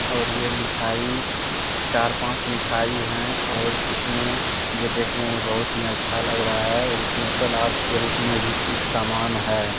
और यह मिठाई चार-पाँच मिठाई है और इसमें यह देखने में बहुत ही अच्छा लग रहा है और इसमें सलाद के रूप में भी कुछ सामान है।